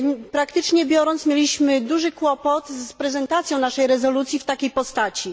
Praktycznie biorąc, mieliśmy duży problem z prezentacją naszej rezolucji w takiej postaci.